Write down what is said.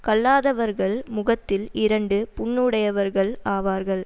கல்லாதவர்கள் முகத்தில் இரண்டு புண்ணுடையவர்கள் ஆவார்கள்